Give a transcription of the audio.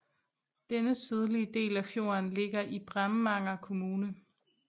Denne sydlige del af fjorden ligger i Bremanger kommune